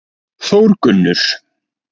Þórgunnur